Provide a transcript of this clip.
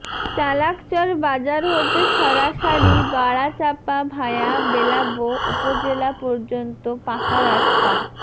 চালাকচর বাজার হতে সরাসারি বড়াচাপা ভায়া বেলাবো উপজেলা পর্যন্ত পাকা রাস্তা